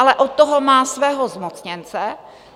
Ale od toho má svého zmocněnce.